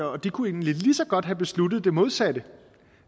og de kunne egentlig lige så godt have besluttet det modsatte